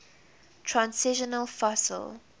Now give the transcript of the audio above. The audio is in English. transitional fossil